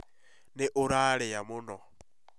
Nĩ ũrarĩa mũno